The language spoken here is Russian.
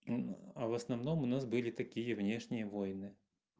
а в основном у нас были такие внешние войны